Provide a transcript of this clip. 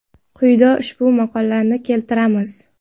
Quyida ushbu maqolani keltiramiz.